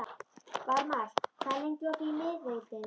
Varmar, hvað er lengi opið í Miðeind?